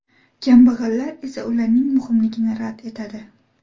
Kambag‘allar esa ularning muhimligini rad etadi.